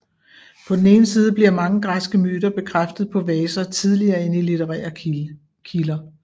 På den ene side bliver mange græske myter bekræftet på vaser tidligere end i litterære kilder